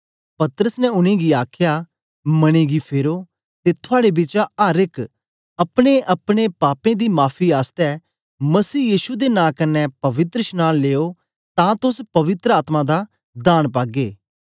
पतरस ने उनेंगी आखया मने गी फेरो ते थुआड़े बिचा अर एक अपनेअपने पापें दी माफी आसतै मसीह यीशु दे नां कन्ने पवित्रशनांन लियो तां तोस पवित्र आत्मा दा दान पागे